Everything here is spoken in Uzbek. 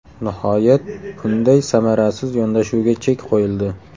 Nihoyat, bunday samarasiz yondashuvga chek qo‘yildi.